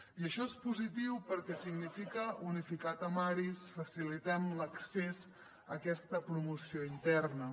i això és positiu perquè significa unificar temaris facilitem l’accés a aquesta promoció interna